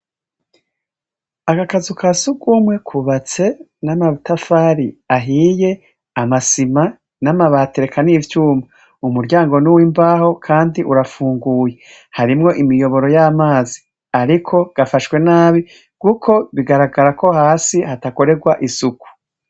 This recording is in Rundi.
Aka kazu ka sugumwe kubatse n'amatafari ahiye ama sima n'amabati rekan' ivyuma, umuryango n'uw'imbaho kandi urafunguye ,harimwo imiyoboro y'amazi ariko gafashwe nabi kuko bigaragara ko hasi hatakorerwa isuku.